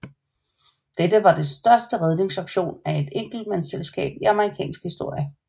Dette var den største redningsaktion af et enkeltselskab i amerikansk historie